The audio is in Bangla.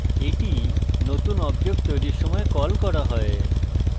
এটি নতুন object তৈরির সময় কল করা হয়